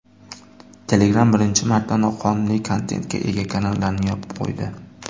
Telegram birinchi marta noqonuniy kontentga ega kanallarni yopib qo‘ydi.